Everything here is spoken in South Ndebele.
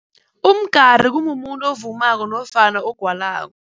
Umgari kumumuntu ovumako nofana ogwalako.